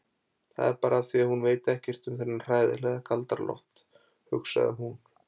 Það er bara af því að hún veit ekkert um þennan hræðilega Galdra-Loft, hugsaði hún.